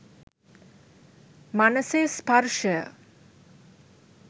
මනසේ ස්පර්ශය